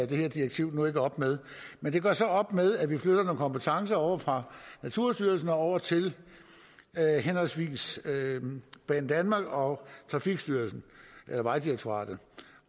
det her direktiv nu ikke op med men det gør så op med at vi flytter nogle kompetencer fra naturstyrelsen over til henholdsvis banedanmark og vejdirektoratet